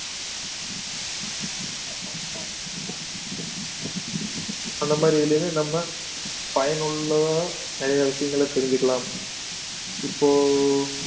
அந்த மாதிரி இதிலேயுமே நம்ம பயனுள்ள நிறைய விஷயங்களை தெரிஞ்சுக்கலாம் இப்போ